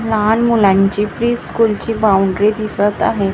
लहान मुलांची प्री स्कूलची दिसत आहे त्या--